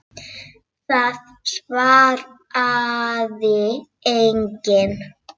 Það svaraði enginn.